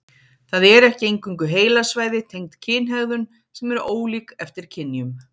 Það eru ekki eingöngu heilasvæði tengd kynhegðun sem eru ólík eftir kynjum.